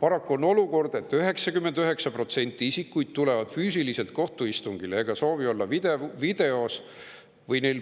Paraku on olukord, et 99% isikuid tuleb füüsiliselt kohtuistungile ega soovi olla videos või neil